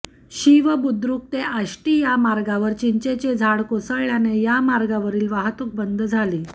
शिव बुद्रुक ते आष्टी या मार्गावर चिंचेचे झाड कोसळल्याने या मार्गावरील वाहतूक बंद झाली